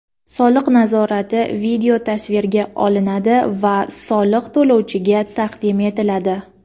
Soliq nazorati videotasvirga olinadi va soliq to‘lovchiga taqdim etiladi.